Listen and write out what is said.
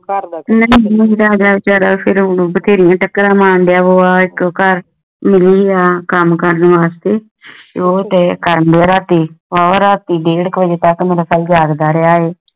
ਬਥੇਰਿਆਂ ਚਾਕਰਾਂ ਮਾਰਦਾ ਉਹ ਇਕ ਘਰ ਮਿਲੀ ਰਹੀ ਨਾ ਕਾਮ ਕਰਨ ਵਾਸਤੇ ਓ ਤੇਯ ਕਰਨ ਡੇ ਰਾਤੀ ਡੇਢ ਵਜੇ ਤਕ ਜਾਗਦਾ ਰਾਹ ਸੇ